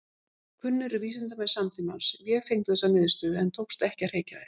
Kunnir vísindamenn samtímans vefengdu þessar niðurstöður en tókst ekki að hrekja þær.